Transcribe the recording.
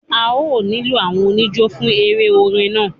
A ó nílò àwọn oníjó fún eré orin náà